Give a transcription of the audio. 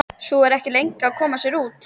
Sú er ekki lengi að koma sér úr!